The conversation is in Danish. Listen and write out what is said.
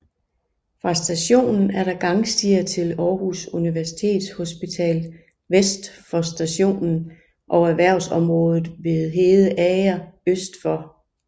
Fra stationen er der gangstier til Aarhus Universitetshospital vest for stationen og erhvervsområdet ved Hedeager øst for